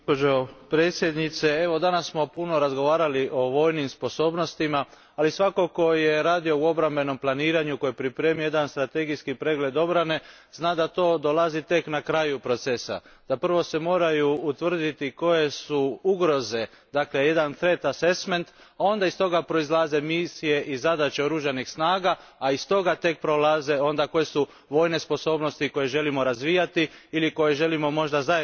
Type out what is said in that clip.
Danas smo puno razgovarali o vojnim sposobnostima, ali svatko tko je radio u obrambenom planiranju koji je pripremio jedan strategijski pregled obrane zna da to dolazi tek na kraju procesa, da prvo se moraju utvrditi koje su ugroze, dakle jedan threat assessment, a onda iz toga proizlaze misije i zadaće oružanih snaga, a iz toga onda proizlaze koje su vojne sposobnosti koje želimo razvijati ili koje želimo možda zajednički razvijati.